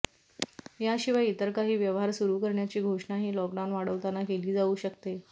याशिवाय इतर काही व्यवहार सुरू करण्याची घोषणाही लॉकडाऊन वाढवताना केली जाऊ शकते